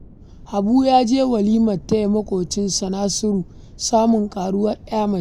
Habu ya je walimar taya maƙwabcinsa Nasiru samun ƙaruwar 'ya mace